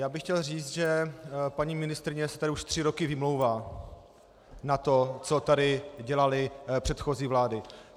Já bych chtěl říci, že paní ministryně se tady už tři roky vymlouvá na to, co tady dělaly předchozí vlády.